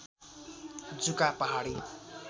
जुका पहाडी